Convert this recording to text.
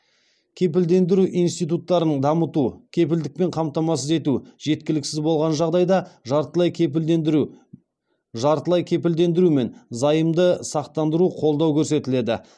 кепілдендіру институттарын дамыту жартылай кепілдендіру мен займды сақтандыру қолдау көрсетіледі